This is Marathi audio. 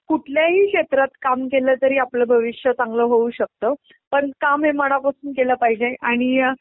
कुठल्याही क्षेत्रात कामं केलतरी आपलं भविष्य चांगलं होऊ शकतं पण काम हे मनापासून केलं पाहिजे आणि